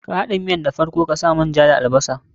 Ka haɗa miyan da farko ta sa man ja da albasar.